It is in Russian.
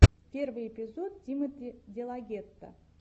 первый эпизод тимоти делагетто